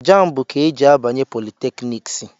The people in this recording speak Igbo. Jambu ka e ji abanye politekniks